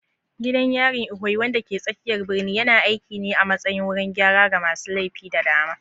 Gidan yarin Ikoyi, wanda ke tsakiyar birnin, yana aiki ne a matsayin wurin gyara ga masu laifi da dama.